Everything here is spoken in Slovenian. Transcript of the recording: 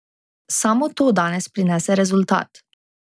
Samo to danes prinese rezultat.